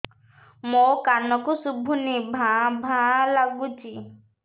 ମୋ କାନକୁ ଶୁଭୁନି ଭା ଭା ଲାଗୁଚି